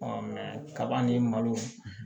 kaba ni malo